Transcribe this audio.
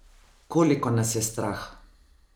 Koliko nas je strah?